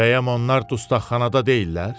Bəyəm onlar dustaqxanada deyillər?